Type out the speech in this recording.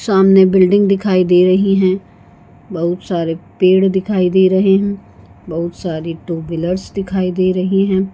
''सामने बिल्डिंग दिखाई दे रही है बहुत सारे पेड़ दिखाई दे रहें हैं बहुत सारी टू व्हीलर्स दिखाई दे रही हैं।''